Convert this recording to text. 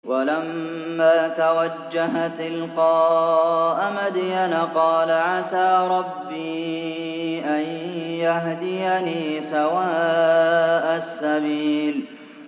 وَلَمَّا تَوَجَّهَ تِلْقَاءَ مَدْيَنَ قَالَ عَسَىٰ رَبِّي أَن يَهْدِيَنِي سَوَاءَ السَّبِيلِ